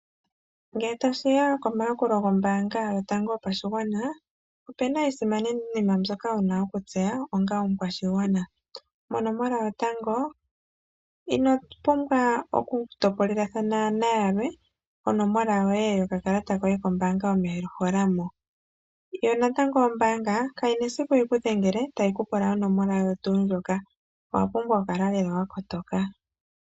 Ngele tashi ya komaakulo gombaanga yotango yopashigwana opena iinima mbyoka wuna okutseya onga omukwashigwana, shotango ino pumbwa oku topolelathana naantu yalwe onomola yoye yokakalata kombaanga no wa pumbwa oku koneka onomola yoye.